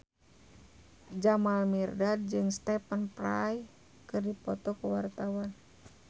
Jamal Mirdad jeung Stephen Fry keur dipoto ku wartawan